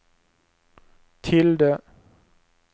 tilde